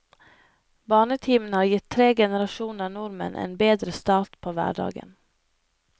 Barnetimen har gitt tre generasjoner nordmenn en bedre start på hverdagen.